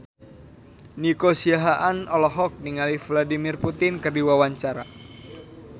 Nico Siahaan olohok ningali Vladimir Putin keur diwawancara